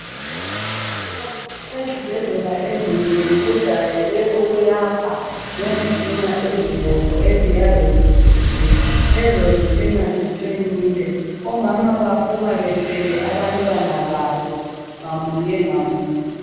Ezibhedlela ezinengi kujayele ukuyakhwa ngezitina ezibomvu eziyabe zitshisiwe. Lezo zitina ziqinile. Omama baphuma bethwele abantwana babo ngamunye ngamunye.